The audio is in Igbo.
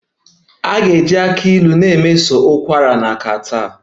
A ga-eji aki Ilu na-emeso ụkwara na catarrh